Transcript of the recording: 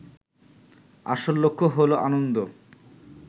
আসল লক্ষ্য হলো আনন্দ